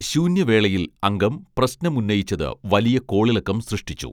ശൂന്യവേളയിൽ അംഗം പ്രശ്നം ഉന്നയിച്ചത് വലിയ കോളിളക്കം സൃഷ്ടിച്ചു